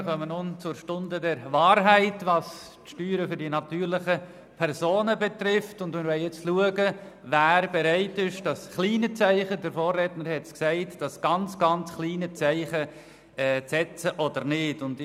Wir kommen nun zur Stunde der Wahrheit, was die Steuern der natürlichen Personen anbelangt, und wir wollen jetzt schauen, wer das kleine Zeichen, das ganz, ganz kleine Zeichen zu setzen bereit ist und wer nicht.